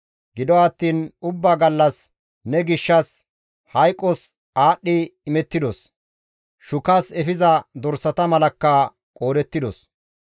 Gido attiin ubbaa gallas ne gishshas hayqos aadhdhi imettidos; shukas efiza dorsata malakka qoodettidos.